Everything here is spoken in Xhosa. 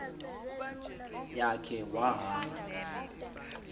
ya khe wahamba